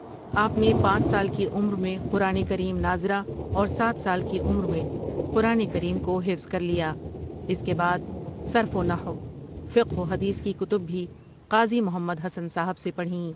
آپؒ نے پانچ سال کی عمر میں قرآن کریم ناظرہ اور سات سال کی عمر میں قرآن کریم کو حفظ کر لیا اس کے بعد صرف و نحو ،فقہ و حدیث کی کتب بھی قاضی محمد حسن صاحبؒ سے پڑھیں ۔